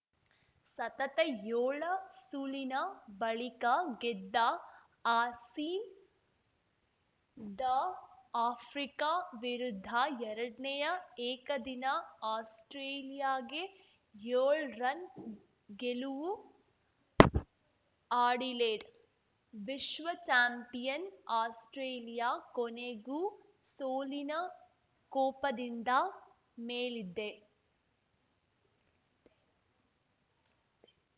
ಸತತ ಯೋಳ ಸೂಲಿನ ಬಳಿಕ ಗೆದ್ದ ಆಸೀ ದ ಆಫ್ರಿಕಾ ವಿರುದ್ಧ ಎರಡ್ನೇಯಾ ಏಕದಿನ ಆಸ್ಪ್ರೇಲಿಯಾಗೆ ಯೊಳ್ ರನ್‌ ಗೆಲುವು ಅಡಿಲೇಡ್‌ ವಿಶ್ವ ಚಾಂಪಿಯನ್‌ ಆಸ್ಪ್ರೇಲಿಯಾ ಕೊನೆಗೂ ಸೋಲಿನ ಕೂಪದಿಂದ ಮೇಲಿದ್ದೆ